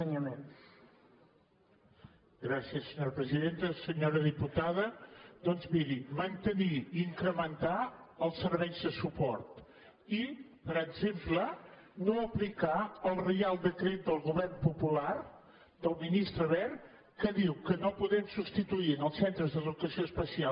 senyora diputada doncs miri mantenir i incrementar els serveis de suport i per exemple no aplicar el reial decret del govern popular del ministre wert que diu que no podem substituir en els centres d’educació especial